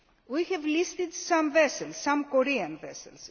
example. We have listed some Korean